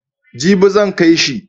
Jibi zan kai shi.